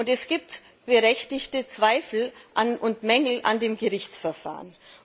Es gibt berechtigte Zweifel und Mängel an dem Gerichtsverfahren.